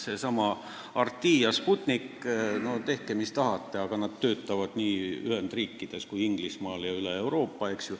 Seesama RT ja Sputnik, tehke mis tahate, aga nad töötavad nii Ühendriikides kui ka Inglismaal ja üle Euroopa.